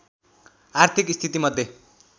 आर्थिक स्थितिमध्ये